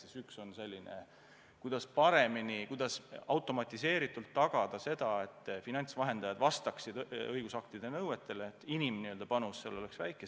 Esimese eesmärk on paremini, automatiseeritult tagada, et finantsvahendajad vastaksid õigusaktide nõuetele, aga et inimpanus selles töös oleks väike.